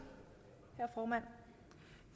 herre formand